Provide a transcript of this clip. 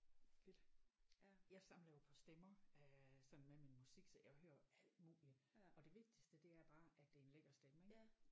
Fedt jeg samler jo på stemmer øh sådan med min musik så jeg hører jo alt muligt og det vigtigste er bare at det er en lækker stemme ik